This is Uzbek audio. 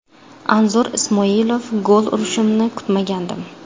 Anzur Ismoilov: Gol urishimni kutmagandim.